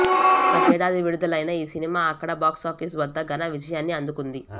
గతేడాది విడుదలైన ఈ సినిమా అక్కడ బాక్సాఫీస్ వద్ద ఘన విజయాన్ని అందుకుంది